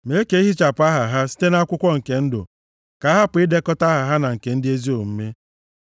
Mee ka e hichapụ aha ha site nʼakwụkwọ nke ndụ, ka a hapụ idekọta aha ha na nke ndị ezi omume.